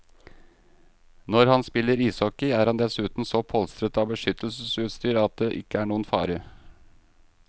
Når han spiller ishockey, er han dessuten så polstret av beskyttelsesutstyr at det ikke er noen fare.